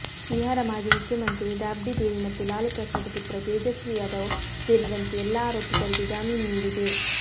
ಬಿಹಾರ ಮಾಜಿ ಮುಖ್ಯಮಂತ್ರಿ ರಾಬ್ಡಿದೇವಿ ಮತ್ತು ಲಾಲು ಪ್ರಸಾದ್ ಪುತ್ರ ತೇಜಸ್ವಿ ಯಾದವ್ ಸೇರಿದಂತೆ ಎಲ್ಲಾ ಆರೋಪಿತರಿಗೆ ಜಾಮೀನು ನೀಡಿದೆ